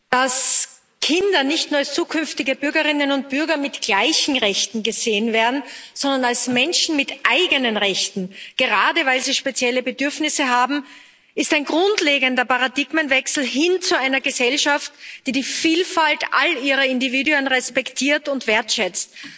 Frau Präsidentin! dass Kinder nicht nur als zukünftige Bürgerinnen und Bürger mit gleichen Rechten gesehen werden, sondern als Menschen mit eigenen Rechten. Gerade weil sie spezielle Bedürfnisse haben, ist ein grundlegender Paradigmenwechsel notwendig hin zu einer Gesellschaft, die die Vielfalt all ihrer Individuen respektiert und wertschätzt.